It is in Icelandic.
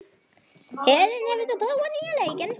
Helen, hefur þú prófað nýja leikinn?